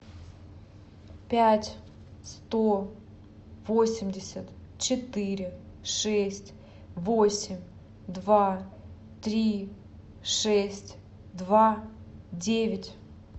пять сто восемьдесят четыре шесть восемь два три шесть два девять